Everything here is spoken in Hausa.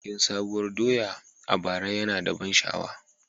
Bikin Sabuwar doya a bara yana da ban sha'awa.